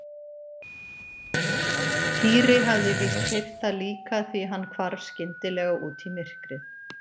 Týri hafði víst heyrt það líka því hann hvarf skyndilega út í myrkrið.